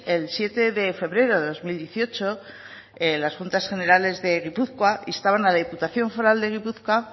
el siete de febrero de dos mil dieciocho las juntas generales de gipuzkoa instaban a la diputación foral de gipuzkoa